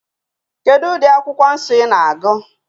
Kedu ụdị akwụkwọ nsọ ị na-agụ?